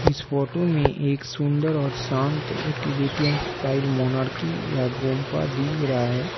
इस फोटो में एक सुंदर और शांत एक्टिविटी एंड स्टाइल मोनार्की या गुंपा दिख रहा है।